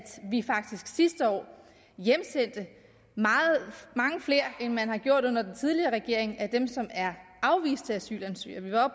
vi faktisk sidste år hjemsendte mange flere end man gjorde under den tidligere regering af dem som er afviste asylansøgere vi var